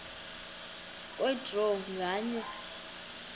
kwe draw nganye